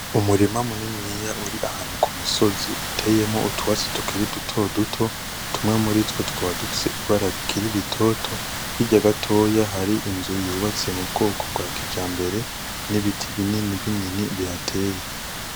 Umurima muniniya uri ahantu ku musozi iteyemwo utwatsi tukiri duto duto, tumwe muritwo tukaba dufise ibara rikiri ritoto, hirya gatoya hari inzu yubatswe mu bwoko bwa kijambere, n'ibiti binini binini bihateye.